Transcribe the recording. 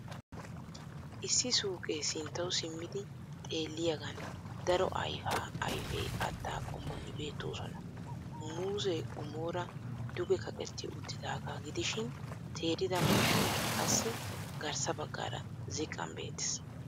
Issi suuqee sinttawu simmidi xeelliyagan daro ayfaa ayfe katta qommoti beettoosona. Muuzee qommoora dugekaqetti uttidaagaa gidishin teerida manggoyqassi garssa baggaara ziqqan beettees